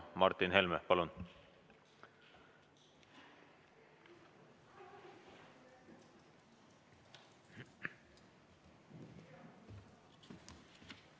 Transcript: Martin Helme, palun!